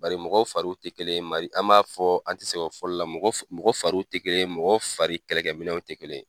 Bari mɔgɔw fari ti kelen ye, an m'a fɔ, an ti sɛgɛn o fɔli la mɔgɔw fari tɛ mɔgɔ fari kɛlɛkɛminɛw tɛ kelen ye.